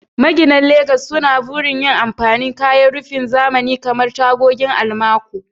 Maginan Legas suna burin yin amfani da kayan rufin zamani kamar tagogin almaco.